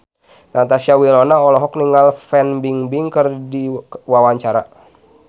Natasha Wilona olohok ningali Fan Bingbing keur diwawancara